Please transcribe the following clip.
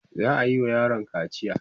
za'ayi wa yaron kaciya